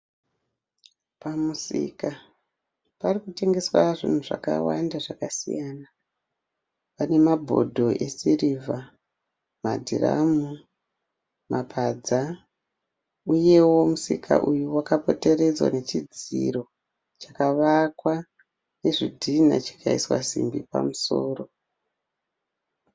Pamusika parikutengeswa zvinhu zvakawanda zvakasiya mabhodho esirivha, madhiramu, mapadza uyewo musika uyu wakapoteredzwa nechidziro pakavakwa nezvidhinha chikaiswa simbi pamusoro.